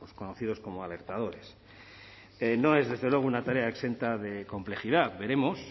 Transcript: conocidos como alertadores no es desde luego una tarea exenta de complejidad veremos